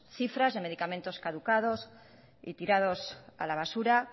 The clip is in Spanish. cifras de medicamentos caducados y tirados a la basura